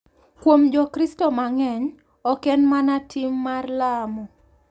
Kuom Jokristo mang’eny, ok en mana tim mar lamo .